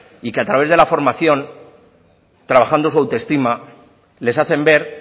y que a través de la formación trabajando su autoestima les hacen ver